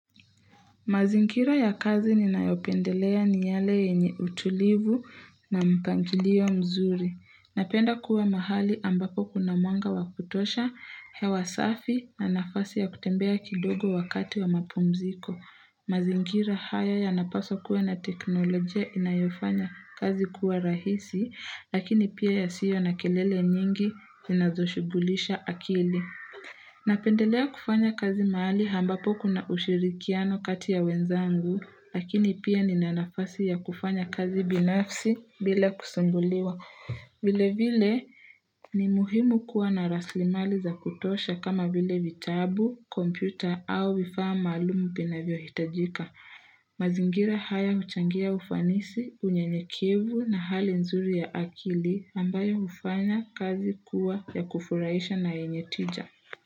Mazingira ya kazi ninayopendelea ni yale yenye utulivu na mpangilio mzuri. Napenda kuwa mahali ambapo kuna mwanga wakutosha, hewa safi na nafasi ya kutembea kidogo wakati wa mapumziko. Mazingira haya ya napaswa kuwa na teknolojia inayofanya kazi kuwa rahisi, lakini pia yasiyo na kelele nyingi inazoshubulisha akili. Napendelea kufanya kazi mahali ambapo kuna ushirikiano kati ya wenzangu, lakini pia nina nafasi ya kufanya kazi binafsi bila kusumbuliwa. Vile vile ni muhimu kuwa na rasilimali za kutosha kama vile vitabu, kompyuta au vifaa maalumu vinavyohitajika. Mazingira haya huchangia ufanisi, unyenyekivu na hali nzuri ya akili ambayo hufanya kazi kuwa ya kufuraisha na yenye tija.